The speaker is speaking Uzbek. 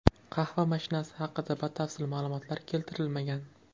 Qahva mashinasi haqida batafsil ma’lumotlar keltirilmagan.